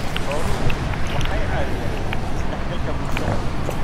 Xooluhu waxay caawiyaan is-dhexgalka bulshada.